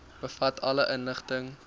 bevat alle inligting